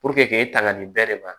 k'e tanga nin bɛɛ de ma